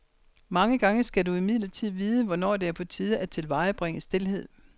Mange gange skal du imidlertid vide, hvornår det er på tide at tilvejebringe stilhed.